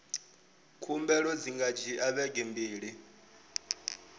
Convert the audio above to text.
khumbelo dzi nga dzhia vhege mbili